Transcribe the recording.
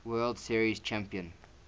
world series champion